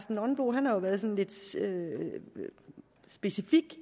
nonbo jo været sådan lidt specifik